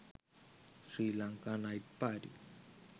srilanka night party